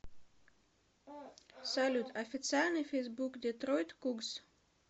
салют официальный фейсбук детройт кугз